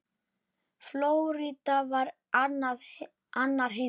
Flórída var annar heimur.